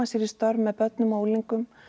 sér í störf með börnum og unglingum